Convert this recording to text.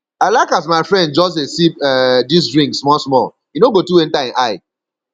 i like as my friend just dey sip um dis drink small small e no go too enta ein eye